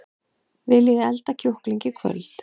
Viljiði elda kjúkling í kvöld?